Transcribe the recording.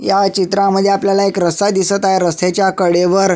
ह्या चित्रामध्ये आपल्याला एक रस्ता दिसत आहे रस्त्याच्या कडेवर--